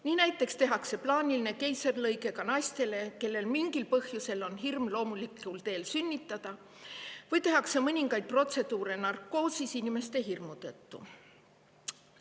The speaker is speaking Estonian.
Nii näiteks tehakse plaanilist keisrilõiget ka nendele naistele, kellel mingil põhjusel on hirm loomulikul teel sünnitamise ees, või tehakse mõningaid protseduure narkoosis, kui inimesel on selle protseduuri ees hirm.